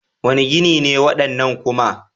Wane gini ne waɗannan kuma?